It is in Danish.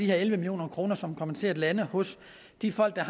elleve million kr som kommer til at lande hos de folk der